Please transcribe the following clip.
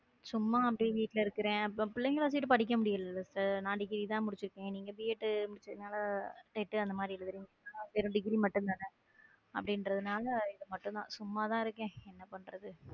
சும்மா அப்படியே வீட்ல இருக்கிறேன் பிள்ளைகளை வச்சுக்கிட்டு படிக்க முடியல sister நான் டிகிரி தான் முடிச்சிருக்கேன் நீங்க பி எட் நான் வெறும் டிகிரி மட்டும் தானே அப்படிங்கிறதுனால இது மட்டும் தான் சும்மா தான் இருக்கேன் என்ன பண்றது.